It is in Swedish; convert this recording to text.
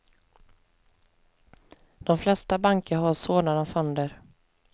De flesta banker har sådana fonder.